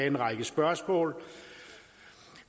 en række spørgsmål